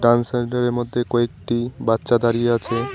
গান সেন্টারের মধ্যে কয়েকটি বাচ্চা দাঁড়িয়ে আছে।